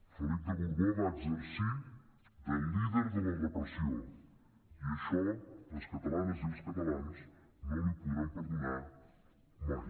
felip de borbó va exercir de líder de la repressió i això les catalanes i els catalans no l’hi podran perdonar mai